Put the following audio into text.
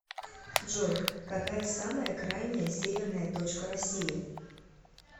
джой какая самая крайняя северная точка россии